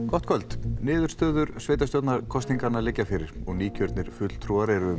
gott kvöld niðurstöður sveitarstjórnarkosninganna liggja fyrir og nýkjörnir fulltrúar eru